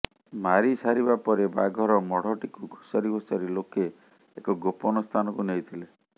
ମାରି ସାରିବା ପରେ ବାଘର ମଢ଼ଟିକୁ ଘୋଷାରି ଘୋଷାରି ଲୋକେ ଏକ ଗୋପନ ସ୍ଥାନକୁ ନେଇଥିଲେ